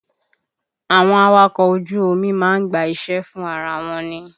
Àwọn awakọ̀ ojú omi má ń gba iṣẹ́ fún ara wọn ni